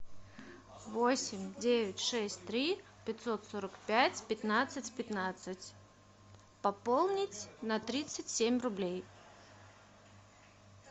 восемь девять шесть три пятьсот сорок пять пятнадцать пятнадцать пополнить на тридцать семь рублей